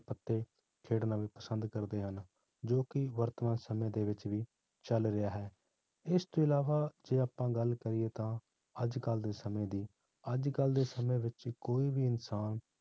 ਅਤੇ ਖੇਡਣਾ ਪਸੰਦ ਕਰਦੇ ਹਨ ਜੋ ਕਿ ਵਰਤਮਾਨ ਸਮੇਂ ਦੇ ਵਿੱਚ ਵੀ ਚੱਲ ਰਿਹਾ ਹੈ, ਇਸ ਤੋਂ ਇਲਾਵਾ ਜੇ ਆਪਾਂ ਗੱਲ ਕਰੀਏ ਤਾਂ ਅੱਜ ਕੱਲ ਦੇ ਸਮੇਂ ਦੀ ਅੱਜ ਕੱਲ੍ਹ ਦੇ ਸਮੇਂ ਵਿੱਚ ਕੋਈ ਵੀ ਇਨਸਾਨ